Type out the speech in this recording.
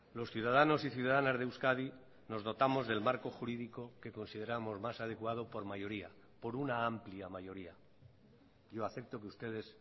los ciudadanos y ciudadanas de euskadi nos dotamos del marco jurídico que consideramos más adecuado por mayoría por una amplia mayoría yo acepto que ustedes